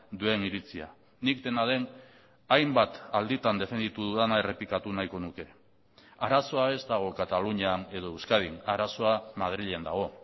duen iritzia nik dena den hainbat alditan defenditu dudana errepikatu nahiko nuke arazoa ez dago katalunian edo euskadin arazoa madrilen dago